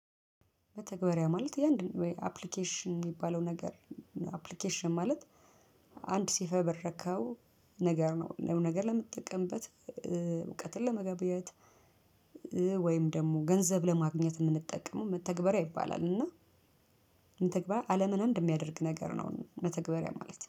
መተገበርያ ማለት የአንድን ወይ አፕሊኬሽን የሚባለው ነገር ነው አፕሊኬሽን ማለት አንድ ሲፈበረከው ነገር ነው ነገ ለምጠቀምበት እውቀትን ለመገበያየት ወይም ደግሞ ገንዘብ ለማግኘት የምንጠቀመው መተግበሪያ ይባላል። እና ተግባር አለምን አንድ የሚያደርግ ነገር ነው። መተግበሪያ ማለት